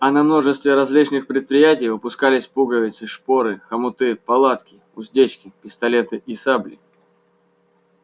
а на множестве различных предприятий выпускались пуговицы шпоры хомуты палатки уздечки пистолеты и сабли